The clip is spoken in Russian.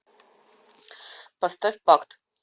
поставь пакт